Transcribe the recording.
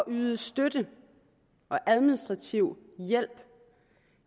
yde støtte og administrativ hjælp